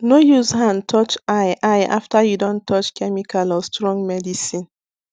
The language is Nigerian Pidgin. no use hand touch eye eye after you don touch chemical or strong medicine